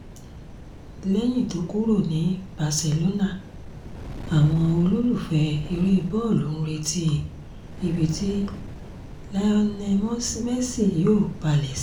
lẹ́yìn tó kúrò ní barcelona àwọn olólùfẹ́ eré bọ́ọ̀lù ń retí ibi tí lionel messi yóò balẹ̀ sí